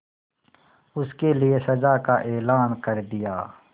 उसके लिए सजा का ऐलान कर दिया